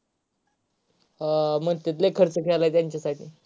हा म्हणत्यात लय खर्च केले त्यांचासाठी.